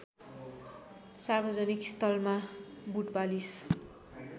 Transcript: सार्वजनिक स्थलमा बुटपालिस